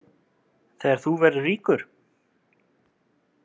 Þegar þú verður ríkur?